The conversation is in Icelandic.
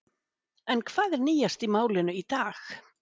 En hvað er nýjast í málinu í dag?